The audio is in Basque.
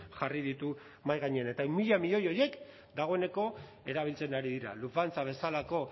jarri ditu mahai gainean eta ehun mila milioi horiek dagoeneko erabiltzen ari dira lufthansa bezalako